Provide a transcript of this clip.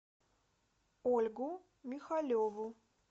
ольгу михалеву